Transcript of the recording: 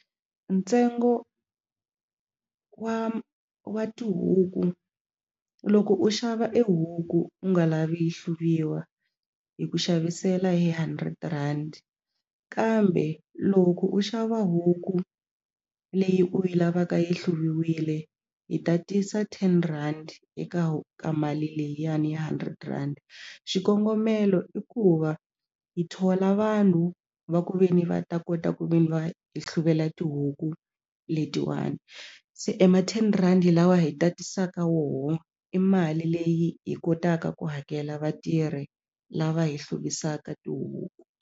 Ntsengo wa tihuku loko u xava e huku u nga lavi yi hluviwa hi ku xavisela hi hundred rand kambe loko u xava huku leyi u yi lavaka yi hluviwile hi tatisa ten rand eka ka mali liyani hundred rand xikongomelo i ku va hi thola vanhu va ku ve ni va ta kota ku ve ni va hi hluvela tihuku letiwani se e ma ten rhandi lawa hi tatisaka woho i mali leyi hi kotaka ku hakela vatirhi lava hi hluvisaka tihuku.